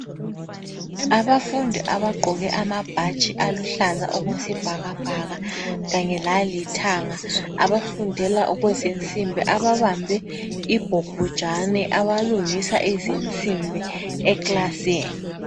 Abafundi abagqoke amabhatshi aluhlaza okwesibhakabhaka kanye lalithanga abafendela okwezinsimbi ababambe ibhobhojane abalungisa izinsimbi ekilasini .